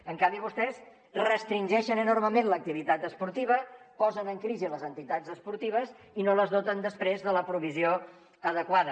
en canvi vostès restringeixen enormement l’activitat esportiva posen en crisi les entitats esportives i no les doten després de la provisió adequada